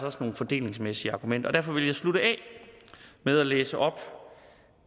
også nogle fordelingsmæssige argumenter og derfor vil jeg slutte af med at læse op